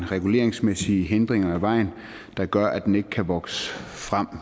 reguleringsmæssige hindringer vejen der gør at den ikke kan vokse frem